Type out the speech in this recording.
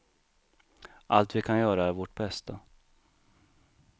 Allt vi kan göra är vårt bästa.